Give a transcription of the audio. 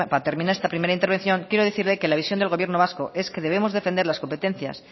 para terminar esta primera intervención quiero decirle que la visión del gobierno vasco es que debemos defender las competencias